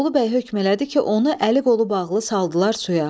Bolubəy hökm elədi ki, onu əli-qolu bağlı saldılar suya.